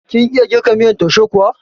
Kin iya girka miyan taushe kuwa?